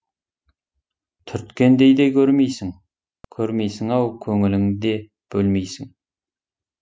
түрткендей де көрмейсің көрмейсің ау көңілің де бөлмейсің